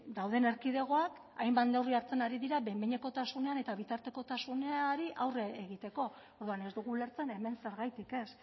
dauden erkidegoak hainbat neurri hartzen ari dira behin behinekotasunean eta bitartekotasunari aurre egiteko orduan ez dugu ulertzen hemen zergatik ez